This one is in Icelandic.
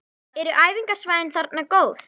Eru æfingasvæðin þarna góð?